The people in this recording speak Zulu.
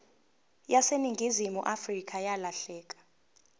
yaseningizimu afrika yalahleka